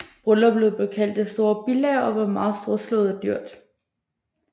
Brylluppet blev kaldt Det store bilager og var meget storslået og dyrt